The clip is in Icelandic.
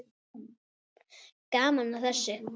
Gaman að þessu.